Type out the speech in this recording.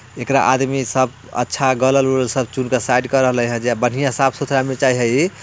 एकरा आदमी सब अच्छा गलल सब चुनके साइड कर रहलै है जे बढ़िया साफ़ सुथरा में चाह हइ।